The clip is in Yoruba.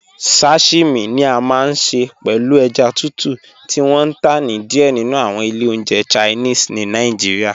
Sashimi ni à máa n ṣẹ pẹ̀lú èjá tùtù ti wọn n tá ni díẹ̀ nínu awọn ilẹ̀ ọ̀njẹ̀ Chinese ni Nàìjíríà.